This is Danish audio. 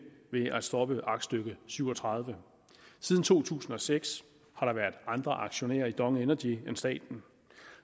ved at stoppe aktstykke syv og tredive siden to tusind og seks har der været andre aktionærer i dong energy end staten